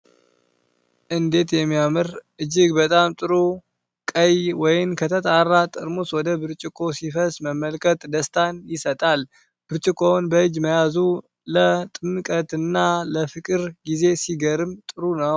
እንዴት የሚያምር! እጅግ በጣም ጥሩ ቀይ ወይን ከተጣራ ጠርሙስ ወደ ብርጭቆ ሲፈስ መመልከት ደስታን ይሰጣል። ብርጭቆውን በእጅ መያዙ ለጥምቀትና ለፍቅር ጊዜ ሲገርም ጥሩ ነው።